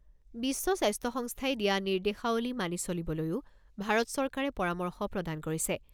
বিশ্ব স্বাস্থ্য সংস্থাই দিয়া নিৰ্দেশাৱলী মানি চলিবলৈও ভাৰত চৰকাৰে পৰামৰ্শ প্ৰদান কৰিছে।